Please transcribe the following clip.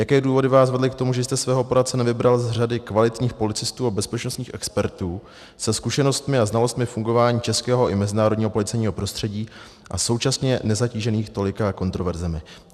Jaké důvody vás vedly k tomu, že jste svého poradce nevybral z řady kvalitních policistů a bezpečnostních expertů se zkušenostmi a znalostmi fungování českého i mezinárodního policejního prostředí a současně nezatížených tolika kontroverzemi?